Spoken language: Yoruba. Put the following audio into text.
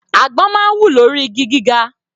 Àgbọn máa ń wù lórí igi gíga.